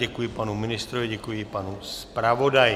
Děkuji panu ministrovi, děkuji panu zpravodaji.